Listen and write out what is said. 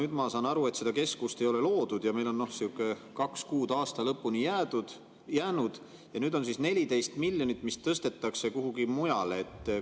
Aga ma saan aru, et seda keskust ei ole loodud ja meil on kaks kuud aasta lõpuni jäänud ja nüüd on 14 miljonit, mis tõstetakse kuhugi mujale.